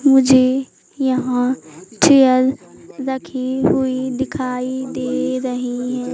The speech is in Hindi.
मुझे यहां चेयर रखी हुई दिखाई दे रही हैं।